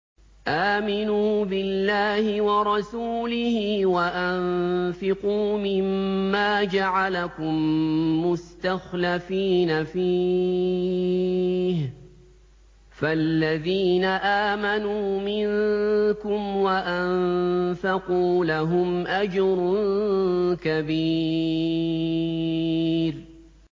آمِنُوا بِاللَّهِ وَرَسُولِهِ وَأَنفِقُوا مِمَّا جَعَلَكُم مُّسْتَخْلَفِينَ فِيهِ ۖ فَالَّذِينَ آمَنُوا مِنكُمْ وَأَنفَقُوا لَهُمْ أَجْرٌ كَبِيرٌ